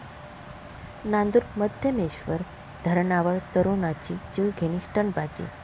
नांदूरमध्यमेश्वर धरणावर तरुणाची जीवघेणी स्टंटबाजी